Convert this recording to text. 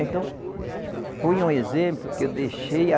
Então, foi um exemplo que eu deixei.